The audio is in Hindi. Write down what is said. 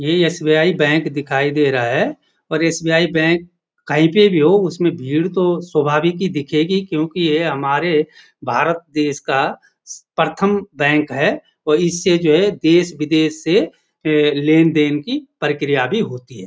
ये एस.बी.आई बैंक दिखाई दे रहा है और एस.बी.आई बैंक कहीं पे भी हो उसमें भीड़ तो स्वभाविक ही दिखेगी क्योंकि ये हमारे भारत देश का स प्रथम बैंक है और इससे जो है देश विदेश से ए लेन-देन की प्रक्रिया भी होती है।